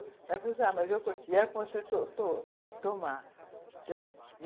Ela falou assim, ah, mas eu... to to tomar, né, e